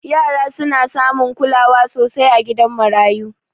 Yara suna samun kulawa sosai a gidan marayu